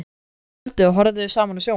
Um kvöldið horfðum við saman á sjónvarpið.